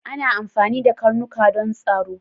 Ana amfani da karnuka don tsaro